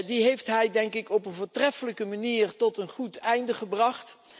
Die heeft hij, denk ik, op een voortreffelijke manier tot een goed einde gebracht.